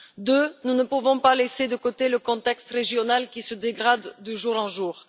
Deuxièmement, nous ne pouvons pas laisser de côté le contexte régional, qui se dégrade de jour en jour.